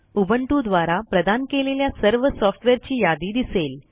Ubuntuद्वारा प्रदान केलेल्या सर्व सॉफ्टवेअरची यादी दिसेल